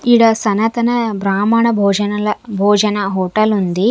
ఈడ సనాతన బ్రాహ్మణ భోజనల భోజన హోటల్ ఉంది.